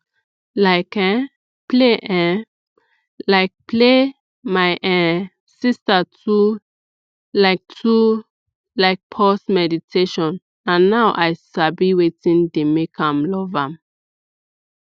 like um play um like play my um sister too like too like pause meditation na now i sabi wetin dey make am love am